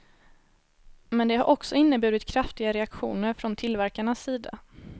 Men det har också inneburit kraftiga reaktioner från tillverkarnas sida.